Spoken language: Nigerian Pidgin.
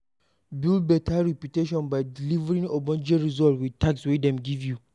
Build better reputation by delivering ogbonge result with task wey dem give you